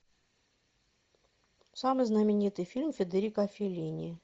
самый знаменитый фильм федерико феллини